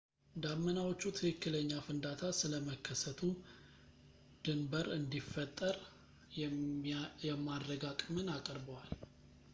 ዳመናዎቹ ትክክለኛ ፍንዳታ ስለመከሰቱ ድንብር እንዲፈጠር የማድረግ አቅምን አቅርበዋል